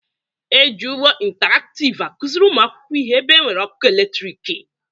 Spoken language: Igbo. E ji ụgbọ ịntaraktịv akụzịrị ụmụ akwụkwọ ihe ebe e nwere ọkụ eletrịkị